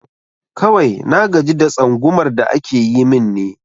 Kawai na gaji da tsangumar da ake yi min ne